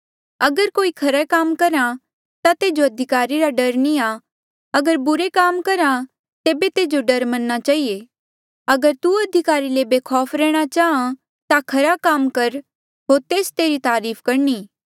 अगर कोई खरे कामा करहा ता तेजो अधिकारी रा डर नी आ अगर बुरा करहा ता तेबे तेजो डर मन्ना चहिए अगर तू अधिकारी ले बेखौफ रैंह्णां चाहां ता खरा काम कर होर तेस तेरी तारीफ करणी